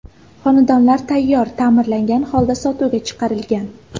Xonadonlar tayyor, ta’mirlangan holda sotuvga chiqarilgan.